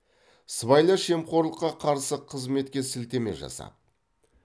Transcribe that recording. сыбайлас жемқорлыққа қарсы қызметке сілтеме жасап